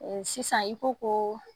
Sisan i ko ko